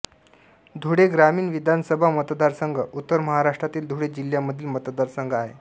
धुळे ग्रामीण विधानसभा मतदारसंघ उत्तर महाराष्ट्रातील धुळे जिल्ह्यामधील मतदारसंघ आहे